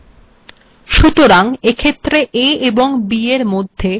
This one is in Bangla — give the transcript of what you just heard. সুতরাং এক্েখত্ের a এবং b এর মধ্েযর স্েপস্এর কোনো কার্যকারীতা েনই